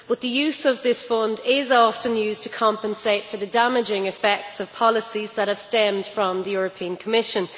But this Fund is often used to compensate for the damaging effects of policies that have stemmed from the European Commission.